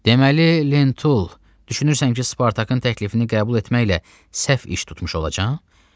Deməli Lentul, düşünürsən ki, Spartakın təklifini qəbul etməklə səhv iş tutmuş olacaqsan?